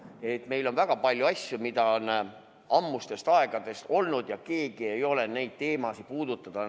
Ehk meil on väga palju asju, ammustest aegadest, ja keegi ei ole neid teemasid puudutada julgenud.